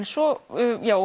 svo